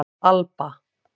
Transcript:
Alba